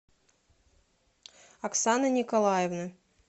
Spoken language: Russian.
оксаны николаевны